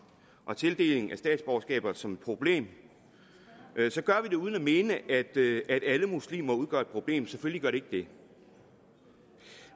og tildelingen af statsborgerskab som et problem gør vi det uden at mene at alle muslimer udgør et problem selvfølgelig gør de ikke det